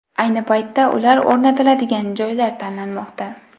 Ayni paytda ular o‘rnatiladigan joylar tanlanmoqda.